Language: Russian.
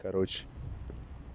короче